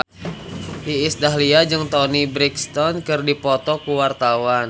Iis Dahlia jeung Toni Brexton keur dipoto ku wartawan